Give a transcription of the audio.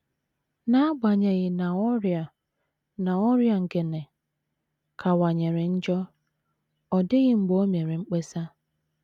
N’agbanyeghị na ọrịa na ọrịa Ngene kawanyere njọ, ọ dịghị mgbe o mere mkpesa.